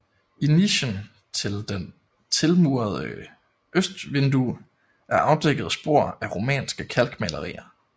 I nichen til det tilmurede østvindue er afdækket spor af romanske kalkmalerier